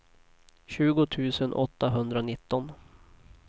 tjugo tusen åttahundranitton